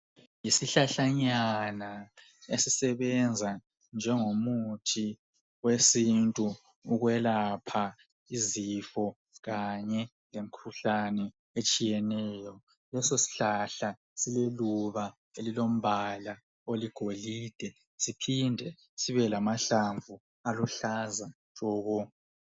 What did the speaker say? Isihlahlanyana ezisebenza njengomuthi wesintu ukwelapha izifo kanye lemikhuhlane etshiyeneyo. Leso sihlahla sililuba elilombala oligolide, siphinde sibelamahlamvu aluhlaza tshoko